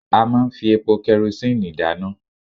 A máa ń fi epo kerosíǹnì dáná